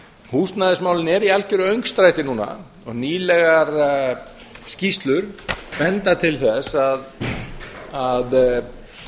húsnæðismálin eru í algjöru öngstræti núna nýlegar skýrslur benda til þess að